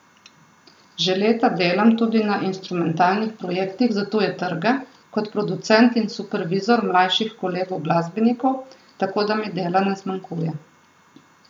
Že leta delam tudi na instrumentalnih projektih za tuje trge, kot producent in supervizor mlajših kolegov glasbenikov, tako da mi dela ne zmanjkuje.